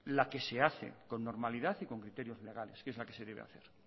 la que se hace con normalidad y con criterios legales que es la que se debe hacer